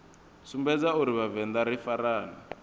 sumbedza uri vhavenḓa ri farane